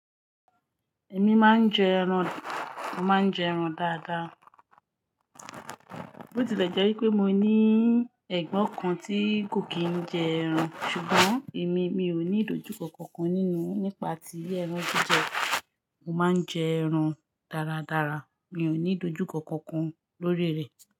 Ẹ̀mí máa ń jẹ ẹran, mo màá njẹ ẹran dáadáa. Ó ti lẹ̀ jẹ́ pé mo ní ẹ̀gbọ́n kan tí kò kìí jẹ ẹran, ṣùgbọ́n èmi, mi ò ní ìdojúkọ kankan nínú nípa ti ẹran jijẹ. Mo máa ń jẹ ẹran dáradára, mi ò ní ìdojúkọ kankan lórí rẹ̀.